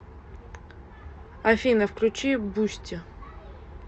афина включи бусти